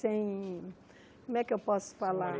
Sem... como é que eu posso falar?